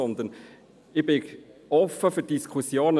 Ich bin offen gegenüber der nationalen Diskussion.